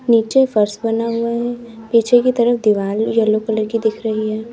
नीचे फर्श बना हुआ है पीछे की तरफ दीवाल येलो कलर की दिख रही है।